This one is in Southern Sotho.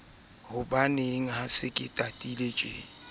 dithaka ka dithaka ke ya